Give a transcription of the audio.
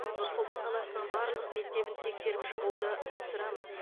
нұр сұлтан қаласының барлық мектебін тексеріп шығуды тапсырамын